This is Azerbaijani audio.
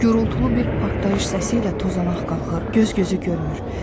Gürultulu bir partlayış səsi ilə tozanaq qalxır, göz gözü görmür.